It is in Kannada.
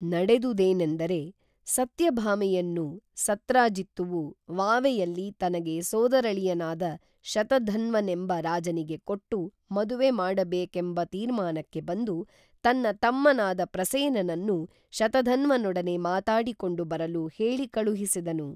ನಡೆದುದೇನೆಂದರೆ, ಸತ್ಯಭಾಮೆಯನ್ನು ಸತ್ರಾಜಿತ್ತುವು ವಾವೆಯಲ್ಲಿ ತನಗೆ ಸೋದರಳಿಯನಾದ ಶತಧನ್ವನೆಂಬ ರಾಜನಿಗೆ ಕೊಟ್ಟು ಮದುವೆ ಮಾಡಬೇಕೇಂಬತೀರ್ಮಾನಕ್ಕೆ ಬಂದು ತನ್ನ ತಮ್ಮನಾದ ಪ್ರಸೇನನನ್ನು ಶತಧನ್ವನೊಡನೆ ಮಾತಾಡಿ ಕೊಂಡು ಬರಲು ಹೇಳಿ ಕಳುಹಿಸಿದನು